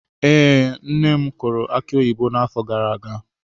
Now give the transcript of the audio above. Ee, nne m kụrụ aki oyibo n'afọ gara aga.